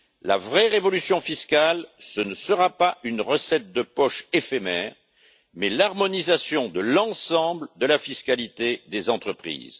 La vraie révolution fiscale, ce ne sera pas une recette de poche éphémère, mais l'harmonisation de l'ensemble de la fiscalité des entreprises.